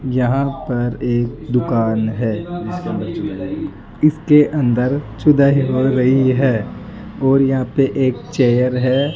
यहां पर एक दुकान है इसके अंदर हो रही है और यहां पे एक चेयर है।